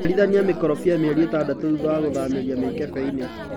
ciarithania makorobia mĩeri ĩtadatũ thutha wa gũthamĩria mĩkebeinĩ.